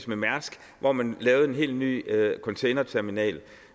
med mærsk hvor man lavede en helt ny containerterminal